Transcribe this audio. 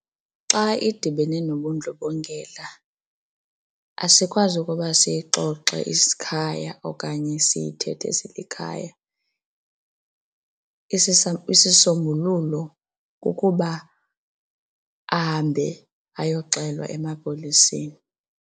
Xa idibene nobundlobongela asikwazi ukuba siyixoxe isikhaya okanye siyithethe silikhaya, isisombululo kukuba ahambe ayoxelwa emapoliseni.